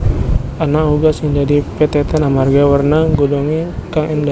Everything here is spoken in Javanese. Ana uga sing dadi pethètan amarga werna godhongé kang éndah